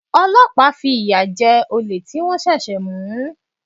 Ọlọ́pàá fi ìyà jẹ olè tí wọ́n ṣẹ̀ṣẹ̀ mú.